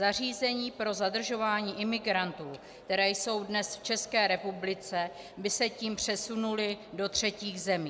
Zařízení pro zadržování imigrantů, která jsou dnes v České republice, by se tím přesunula do třetích zemí.